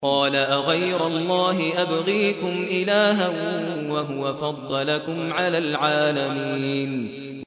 قَالَ أَغَيْرَ اللَّهِ أَبْغِيكُمْ إِلَٰهًا وَهُوَ فَضَّلَكُمْ عَلَى الْعَالَمِينَ